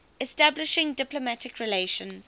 establishing diplomatic relations